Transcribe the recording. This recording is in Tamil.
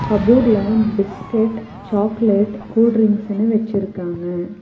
கபோர்ட்ல பிஸ்கெட் சாக்லேட் கூல் ட்ரிங்க்ஸ்னு வெச்சிருக்காங்க.